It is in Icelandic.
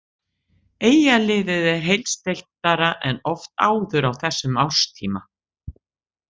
Eyjaliðið er heilsteyptara en oft áður á þessum árstíma.